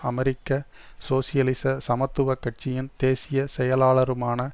அமெரிக்க சோசியலிச சமத்துவ கட்சியின் தேசிய செயலாளருமான